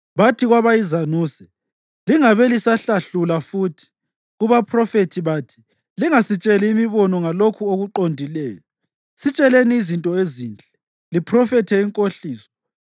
Bathi kwabayizanuse, “Lingabe lisahlahlula futhi.” Kubaphrofethi bathi, “Lingasitsheli imibono ngalokho okuqondileyo. Sitsheleni izinto ezinhle, liphrofethe inkohliso.